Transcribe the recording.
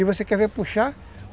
E você quer ver puxar?